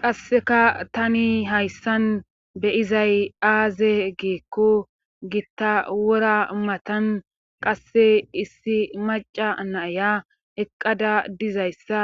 Qasseka tani hayssan beyizay aaze giikko gitta wora matan qasse issi maacca naaya eqqada dizayssa